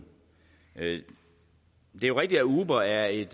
det er rigtigt at uber er et